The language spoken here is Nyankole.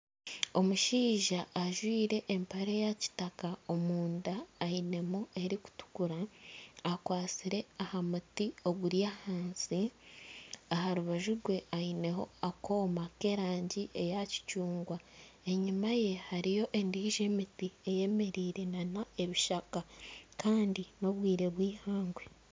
Omushaija ajwaire empare ya kitaka omunda ainemu erikutukura akwatsire aha muti oguri ahansi aha rubaju rwe aineho akooma k'erangi eya kicungwa, enyuma ye hariyo endiijo emiti eyemereire na n'ebishaka kandi n'obwire bw'eihangwe.